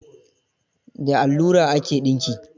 The allura ake dinki.